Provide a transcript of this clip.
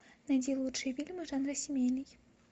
найди лучшие фильмы жанра семейный